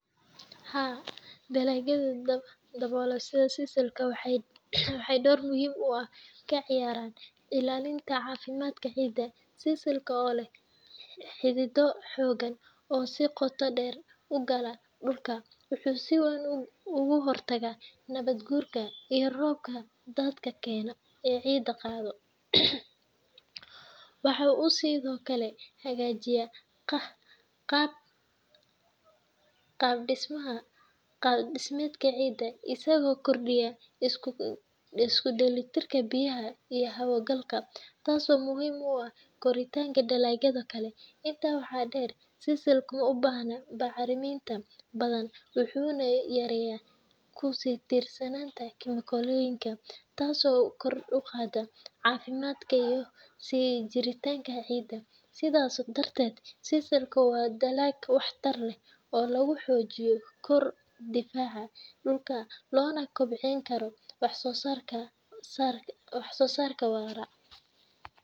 Haa, dalagyada daboola sida sisalka waxay door muhiim ah ka ciyaaraan ilaalinta caafimaadka ciidda. Sisalka, oo leh xidido xooggan oo si qoto dheer u gala dhulka, wuxuu si weyn uga hortagaa nabaad guurka iyo roobka daadadka keena ee ciidda qaada. Waxa uu sidoo kale hagaajiyaa qaab-dhismeedka ciidda isagoo kordhiya isku dheelitirka biyaha iyo hawo galka, taasoo muhiim u ah koritaanka dalagyada kale. Intaa waxaa dheer, sisalka ma baahna bacriminta badan, wuxuuna yareeyaa ku tiirsanaanta kiimikooyinka, taasoo kor u qaadda caafimaadka iyo sii jiritaanka ciidda. Sidaas darteed, sisalka waa dalag waxtar leh oo lagu xoojin karo difaaca dhulka loona kobcin karo wax-soo-saarka waara.